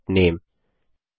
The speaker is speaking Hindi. सेट नामे